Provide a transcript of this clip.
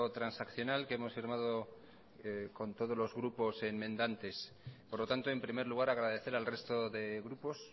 transaccional que hemos firmado con todos los grupos enmendantes por lo tanto en primer lugar agradecer al resto de grupos